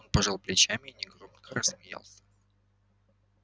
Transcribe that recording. он пожал плечами и негромко рассмеялся